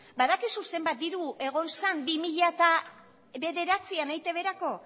badakizu zenbat diru egon zen bi mila bederatzian eitbrako